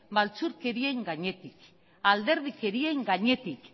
maltzurkerien gainetik alderdikerien gainetik